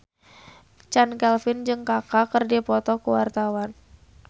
Chand Kelvin jeung Kaka keur dipoto ku wartawan